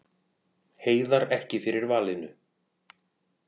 Heiðar ekki fyrir valinu